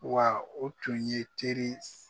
Wa o tun ye teri